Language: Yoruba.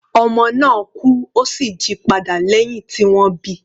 Ọmọ náà kú, ó sì jí padà lẹ́hìn tí wọ́n bíi.